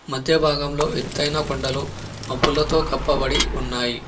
మధ్య భాగంలో ఎతైన కొండలు మబ్బులతో కప్పబడి ఉన్నాయి.